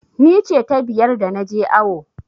Ni ce ta biyar da na je awo.